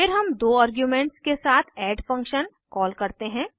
फिर हम दो आर्ग्यूमेंट्स के साथ एड ऐड फंक्शन कॉल करते हैं